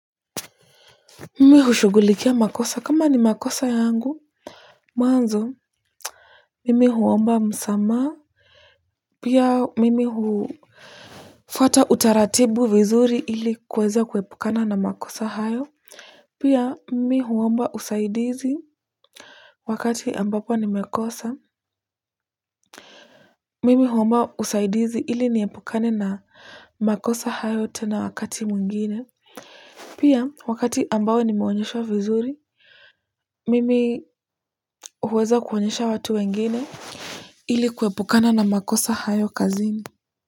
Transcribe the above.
Mimi hushughulikia makosa kama ni makosa yangu mwanzo mimi huomba msamaha pia mimi hufuata utaratibu vizuri ili kuweza kuepukana na makosa hayo pia mimi huomba usaidizi wakati ambapo nimekosa mimi huomba usaidizi ili niepukane na makosa hayo tena wakati mwingine pia, wakati ambao nimeonyeshwa vizuri, mimi huweza kuonyesha watu wengine ili kuepukana na makosa hayo kazini.